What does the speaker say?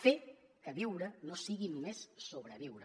fer que viure no sigui només sobreviure